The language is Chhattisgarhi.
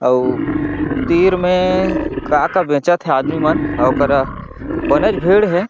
अऊ तिर में का का बेंचत हे आदमी मन ओकरा बनेच भीड़ हे।